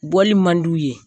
Bɔli man d'u ye.